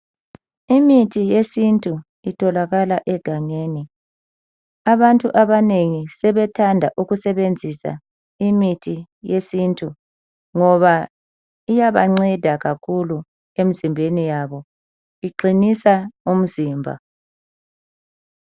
Imithi yesintu itholakala egangeni. Abantu abanengi sebethanda ukusebenzisa imithi yesintu ngoba iyabanceda kakhulu emzimbeni yabo, iqinisa umzimba.